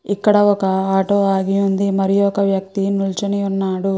ఇక్కడ ఒక ఆటో ఆగి ఉంది మరియు ఒక వ్యక్తి నిల్చని అన్నాడు.